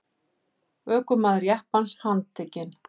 Ökumaður jeppans handtekinn